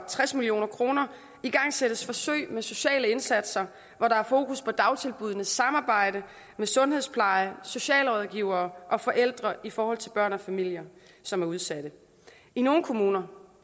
tres million kroner igangsættes forsøg med sociale indsatser hvor der er fokus på dagtilbuddenes samarbejde med sundhedsplejen socialrådgivere og forældre i forhold til børn og familier som er udsatte i nogle kommuner